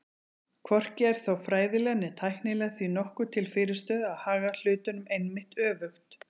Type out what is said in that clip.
Hvorki er þó fræðilega né tæknilega því nokkuð til fyrirstöðu að haga hlutunum einmitt öfugt.